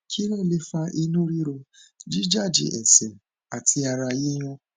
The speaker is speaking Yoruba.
kí ló lè fa inú ríro jíjájẹ ẹsẹ àti ara yíyún